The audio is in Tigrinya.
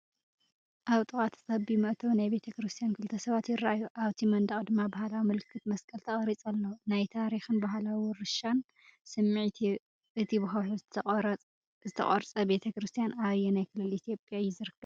ኣብ ጥቓ እቲ ጸቢብ መእተዊ ናይቲ ቤተክርስትያን ክልተ ሰባት ይረኣዩ፡ ኣብቲ መንደቕ ድማ ባህላዊ ምልክት መስቀል ተቐሪጹ ኣሎ። ናይ ታሪኽን ባህላዊ ውርሻን ስምዒት ይህብ። እቲ ብከውሒ ዝተቖርጸ ቤተ ክርስቲያን ኣብ ኣየናይ ክልል ኢትዮጵያ እዩ ዝርከብ?